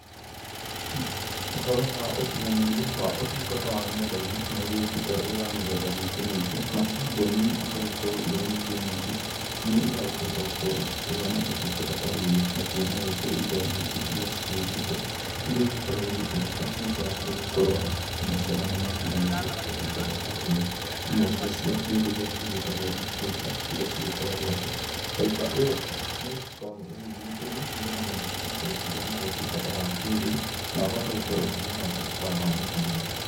Ũhoro wa ũkinyanĩria wa ũtungata wa ng'enda-inĩ nĩ ũgĩũkĩte ũrĩ wa mĩthemba mĩingĩ mĩingĩ na kamboni igagĩkorwo irĩ nyingĩ nyingĩ iria, irakĩhota gũkorwo igĩkĩheana ũtungata ta ũyũ. Nakuo no gũkĩrĩ indo nyingĩ iria cigĩũkĩte. Iria igĩkoragwo igĩtũmĩka nĩũndũ wa gũkorwo nĩmakĩnyitanĩra ũtungata ta ũyũ. Imwe cia icio nĩ indo iria igĩtagwo ta faiba iria igĩkoragwo atĩ faiba ĩyo nĩ ĩgĩkoragwo ĩgĩgĩkĩrwo nĩgetha mũndũ no akĩhote gũkĩgĩa na ũtungata wa kĩrĩu na ahote gũkorwo akĩgĩa na ũtungata ta wa intaneti.